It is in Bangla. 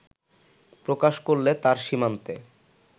প্রকাশ করলে তার সীমান্তে